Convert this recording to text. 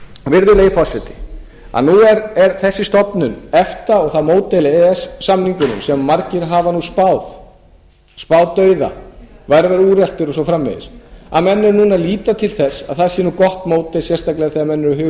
virðulegi forseti að nú er þessi stofnun efta og það módel ess samningurinn sem margir hafa nú spáð dauða væri að verða úreltur og svo framvegis að menn eru núna að líta til þess að það sé nú gott módel sérstaklega þegar menn eru að huga